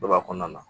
Dɔ b'a kɔnɔna na